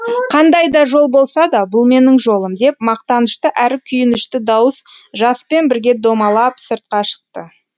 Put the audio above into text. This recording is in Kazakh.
қандай да жол болса да бұл менің жолым деп мақтанышты әрі күйінішті дауыс жаспен бірге домалап сыртқа шықты